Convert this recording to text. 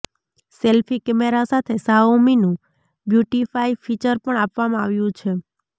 selfie camera સાથે શાઓમીનું beautify feature પણ આપવામાં આવ્યું છે